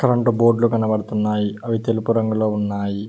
రొండు బోర్డ్లు కనబడుతున్నాయి అవి తెలుపు రంగులో ఉన్నాయి.